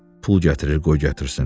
Pul gətir, qoy gətirsin.